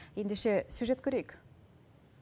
ендеше сюжет көрейік